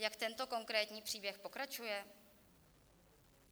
Jak tento konkrétní příběh pokračuje?